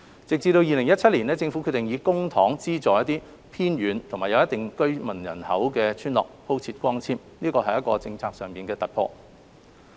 直至2017年，政府決定以公帑資助一些偏遠及有一定居民人口的鄉村鋪設光纖，這是一項政策突破。